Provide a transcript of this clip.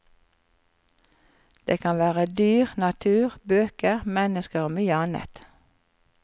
Det kan være dyr, natur, bøker, mennesker og mye annet.